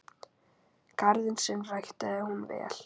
Garðinn sinn ræktaði hún vel.